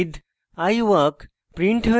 i breathe i walk